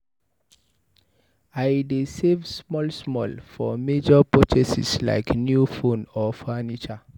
I dey save small small for major purchases like new phone or furniture.